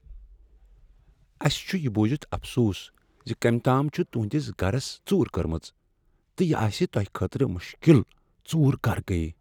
اسہ چھ یہ بوٗزتھ افسوس ز کمۍ تام چھ تہنٛدس گرس ژوٗر کٔرمٕژ تہٕ یہ آسہ تۄہہ خٲطرٕ مشکل ژوٗر کر گٔیہ؟